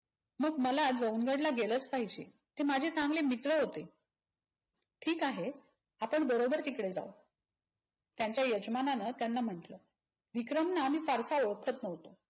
मग मला जवंगडला गेलच पाहिजे. ते माझे चांगले मित्र होते. ठीक आहे. आपण बरोबर तिकडे जाऊ. त्यांच्या यजमानांन त्यांना म्हटलं. विक्रमना आम्ही फारसा ओळखत नव्हतो.